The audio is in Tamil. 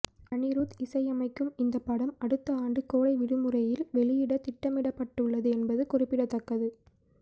அனிருத் இசையமைக்கும் இந்த படம் அடுத்த ஆண்டு கோடை விடுமுறையில் வெளியிட திட்டமிடப்பட்டுள்ளது என்பது குறிப்பிடத்தக்கது